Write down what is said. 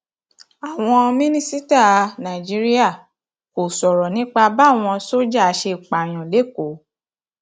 àwọn mínísítà nàìjíríà kò sọrọ nípa báwọn sójà ṣe pààyàn lẹkọọ